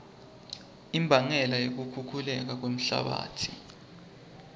imbangela yekukhukhuleka kwemhlabatsi